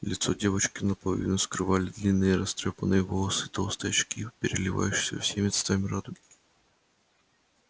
лицо девочки наполовину скрывали длинные растрёпанные волосы и толстые очки переливающиеся всеми цветами радуги